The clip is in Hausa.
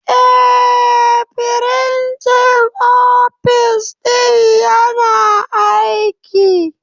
Eh, firinjin ofis ɗin yana aiki.